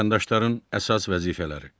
Vətəndaşların əsas vəzifələri.